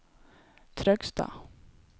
Trøgstad